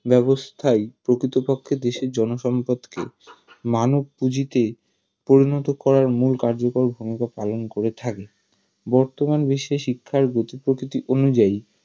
ব্যাবস্থাই প্রকৃতপক্ষে দেশের জনসম্পদকে মানবপুজিতে পরিণত করার মুল কার্যকর ভুমিকা পালন করে থাকে বর্তমান বিশ্বে শিক্ষার গতি প্রকৃতি অনুযায়ী